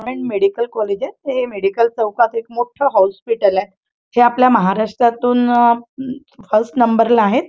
हे एक medical college हे मेडिकल चौकात एक मोठ हॉस्पिटल हे आपल्या महाराष्ट्रातून आं फर्स्ट नंबरला आहे.